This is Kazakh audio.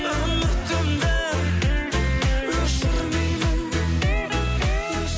үмітімді өшірмеймін